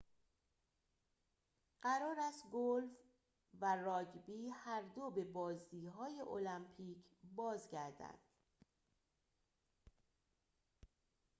قرار است گلف و راگبی هر دو به بازی های المپیک بازگردند